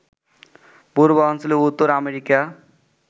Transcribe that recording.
পূর্বাঞ্চলীয় উত্তর আমেরিকা